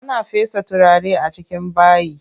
Ana fesa turare a cikin bayi.